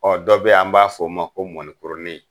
Ɔ dɔ bɛ an b'a f' o ma ko mɔnikurunin.